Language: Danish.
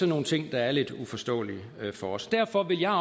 nogle ting der er lidt uforståelige for os derfor vil jeg